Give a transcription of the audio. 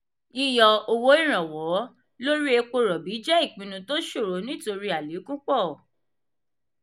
yíyọ owó ìrànwọ́ lórí èpo robi jẹ ìpinnu tó ṣòro nítorí alekun pọ.